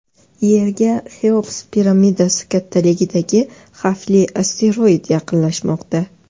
Yerga Xeops piramidasi kattaligidagi xavfli asteroid yaqinlashmoqda.